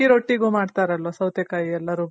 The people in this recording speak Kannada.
ಅಕ್ಕಿ ರೊಟ್ಟಿಗು ಮಾಡ್ತಾರಲ್ವ ಸೌತೆ ಕಾಯಿ ಎಲ್ಲಾ ರುಬ್ಬಿ ಹಾಕಿ